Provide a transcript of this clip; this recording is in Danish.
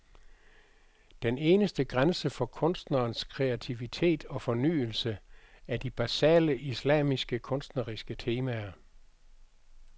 Den eneste grænse for kunstnerens kreativitet og fornyelse er de basale islamiske kunstneriske temaer.